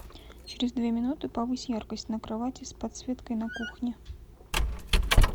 через две минуты повысь яркость на кровати с подсветкой на кухне